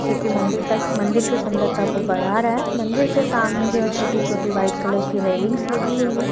जो कि मंदिर तक मंदिर की सुंदरता को बढ़ा रहा है मंदिर के सामने जो है छोटी-छोटी वाइट कलर की रेलिंग्स लगी हुई हैं।